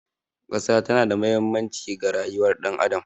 Ƙasa tana da mahimmanci ga rayuwar ɗan adam.